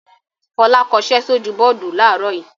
Fọlá kọṣẹ́ sójú bọ́ọ́dù láàárọ̀ yìí.